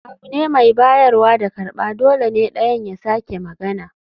Abu ne mai bayarwa da karɓa, dole ne ɗayan ya sake magana